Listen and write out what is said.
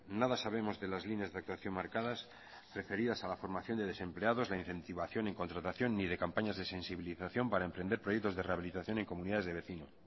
nada sabemos de las líneas de actuación marcadas referidas a la formación de desempleados la incentivación en contratación ni de campañas de sensibilización para emprender proyectos de rehabilitación en comunidades de vecinos